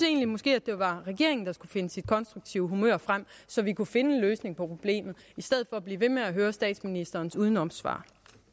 måske det var regeringen der skulle finde sit konstruktive humør frem så vi kunne finde en løsning på problemet i stedet for blive ved med at høre statsministerens udenomssvar